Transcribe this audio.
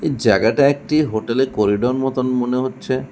জায়গাটা একটি হোটেল এর করিডোর মতন মনে হচ্ছে।